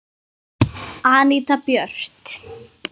Anita Björt.